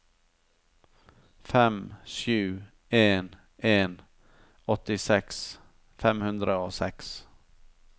fem sju en en åttiseks fem hundre og seks